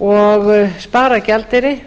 og spara gjaldeyri